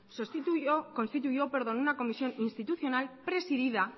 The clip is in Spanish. constituyó una comisión interinstitucional presidida